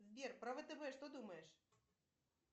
сбер про втб что думаешь